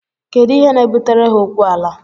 Kedu ihe na-ebutere ha okwu ala?